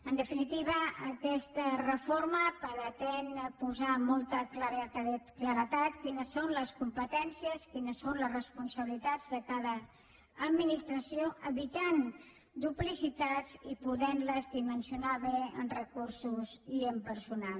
en definitiva aquesta reforma pretén posar amb molta claredat quines són les competències quines són les responsabilitats de cada administració evitant duplicitats i podent les dimensionar bé en recursos i en personal